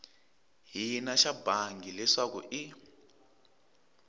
hina xa bangi leswaku i